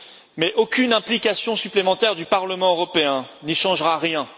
Mais aucune implication supplémentaire du Parlement européen n'y changera rien.